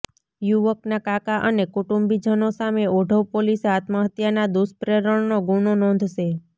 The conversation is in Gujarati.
યુવકના કાકા અને કુટુંબીજનો સામે ઓઢવ પોલીસે આત્મહત્યાના દુષ્પ્રેરણનો ગુનો નોંધશે